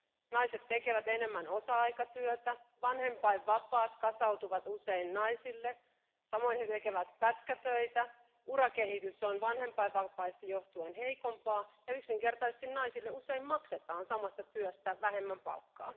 Naiset tekevät enemmän osa aikatyötä, vanhempainvapaat kasautuvat usein naisille, samoin he tekevät pätkätöitä, urakehitys on vanhempainvapaista johtuen heikompaa ja yksinkertaisesti naisille usein maksetaan samasta työstä vähemmän palkkaa.